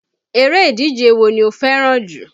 Eré ìdíje wo ni o fẹ́ràn jù?